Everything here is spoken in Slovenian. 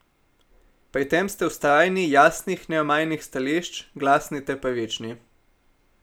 Pri tem ste vztrajni, jasnih, neomajnih stališč, glasni ter pravični.